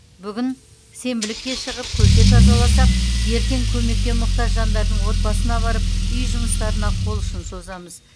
бүгін сенбілікке шығып көше тазаласақ ертең көмекке мұқтаж жандардың отбасына барып үй жұмыстарына қол ұшын созамыз